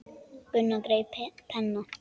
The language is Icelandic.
Gunnar greip penna.